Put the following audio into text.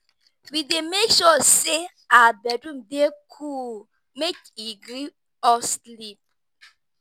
We dey make sure sey our bedroom dey cool make e gree us sleep.